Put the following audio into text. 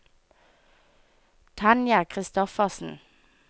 Tanja Christoffersen